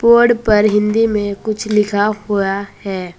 Board पर हिंदी में कुछ लिखा हुआ है।